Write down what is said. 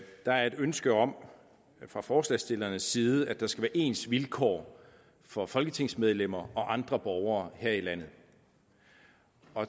der er et ønske om fra forslagsstillernes side at der skal være ens vilkår for folketingsmedlemmer og andre borgere her i landet